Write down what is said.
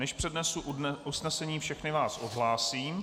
Než přednesu usnesení, všechny vás odhlásím.